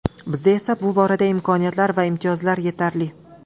Bizda esa bu borada imkoniyatlar va imtiyozlar yetarli.